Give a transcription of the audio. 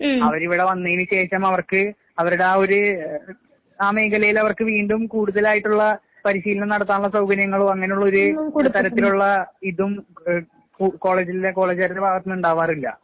അവരിവടെ വന്നേന് ശേഷം അവർക്ക് അവരുടെ ആ ഒര് ആ മേഖലയിലവർക്ക് വീണ്ടും കൂടുതലായിട്ടുള്ള പരിശീലനം നടത്താനുള്ള സൗകര്യങ്ങളോ അങ്ങനുള്ളൊര് തരത്തിലുള്ള ഇതും എഹ് കു കോളേജിലെ കോളേജുകാരുടെ ഭാഗത്ത്ന്ന്ണ്ടാവാറില്ല.